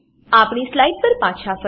આપણી સ્લાઈડ પર પાછા ફરીએ